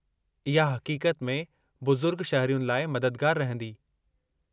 इहा हक़ीक़त में बुज़ुर्ग शहरियुनि लाइ मददगारु रहंदी।